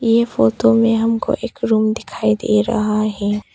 ये फोटो मे हमको एक रूम दिखाई दे रहा है।